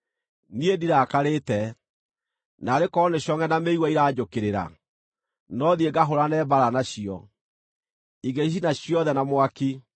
Niĩ ndirakarĩte. Naarĩ korwo nĩ congʼe na mĩigua iranjũkĩrĩra! No thiĩ ngahũũrane mbaara nacio; Ingĩcicina ciothe na mwaki.